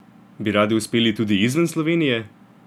Bi radi uspeli tudi izven Slovenije?